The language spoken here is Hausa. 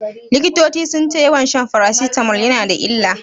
Likitoci sun ce yawan shan farasitamol yana da illa.